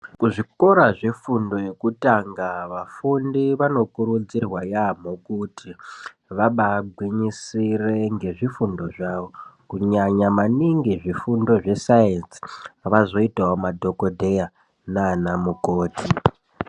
Kuzvikora zvefundo yekutanga vafundi vanokurudzirwa yamho kuti vabagwinyisire ngezvifundo zvavo kunyanya maningi zvifundo zve saenzi vazoitawo madhokoteya nana mukoti.